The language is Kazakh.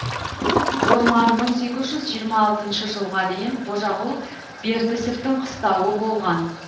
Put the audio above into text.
орман мың сегіз жүз жиырма алтыншы жылға дейін қожағұл бертісовтің қыстауы болған